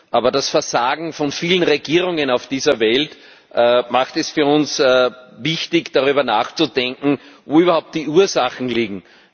Aber das Versagen von vielen Regierungen auf dieser Welt macht es für uns wichtig, darüber nachzudenken, wo überhaupt die Ursachen liegen.